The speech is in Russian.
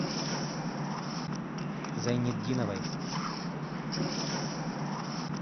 зайнетдиновой